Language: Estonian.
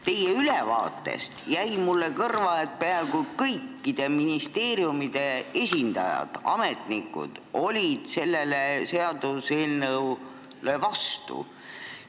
Teie ülevaatest jäi mulle kõrva, et peaaegu kõikide ministeeriumide ametnikud olid selle seaduseelnõu vastu.